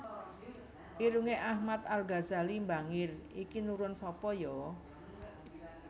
Irunge Ahmad Al Ghazali mbangir iki nurun sapa yo